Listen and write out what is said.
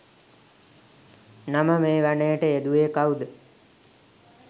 නම මේ වනයට යෙදුවේ කවුද?